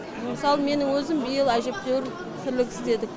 мысалы менің өзім биыл әжептеуір тірлік істедік